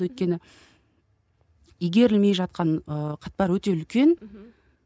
өйткені игерілмей жатқан ы өте үлкен